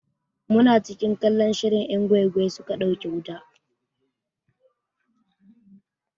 Muna cikin kallon shirin 'yan gwai gwai suka ɗauke wuta.